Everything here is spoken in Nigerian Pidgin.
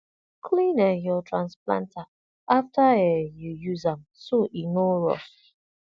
clean um your transplanter after um you use am so e no rust